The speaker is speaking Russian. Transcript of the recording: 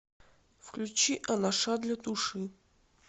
включи анаша для души